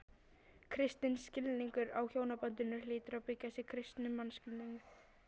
Kristinn skilningur á hjónabandinu hlýtur að byggjast á kristnum mannskilningi.